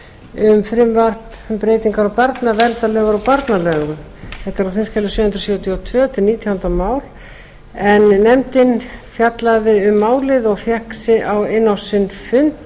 um frumvarp um breytingar á barnaverndarlögum og barnalögum þetta er á þingskjali sjö hundruð sjötíu og tvö nítjánda mál en nefndin fjallaði um málið og fékk á sinn fund